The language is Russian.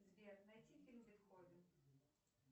сбер найти фильм бетховен